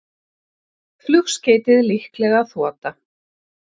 Flugskeytið líklega þota